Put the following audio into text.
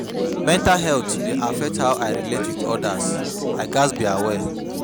Mental health dey affect how I relate with others; I gats be aware.